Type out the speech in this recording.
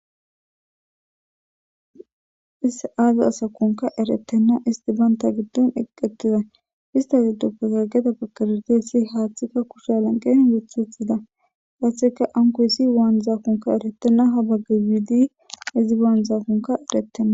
is aazi asakunka eretenna isti banta giddon eqqettiza istasi duuppezageta bakerete si haaththikka kusha lanqehin gethithida haaththeka ankoyssi waan zaakunka erettenna habaggiwidi izi baanzaakunka eretenna